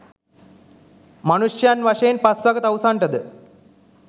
මනුෂ්‍යයන් වශයෙන් පස්වග තවුසන්ටද